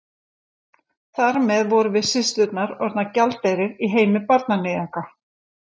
Þar með vorum við systurnar orðnar gjaldeyrir í heimi barnaníðinga.